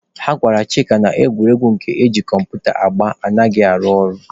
Ha gwara Chịka na egwuregwu nke eji kọmputa agba anaghị arụ ọrụ.